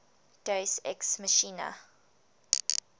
deus ex machina